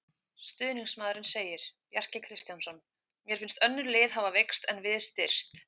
Stuðningsmaðurinn segir- Bjarki Kristjánsson Mér finnst önnur lið hafa veikst en við styrkst.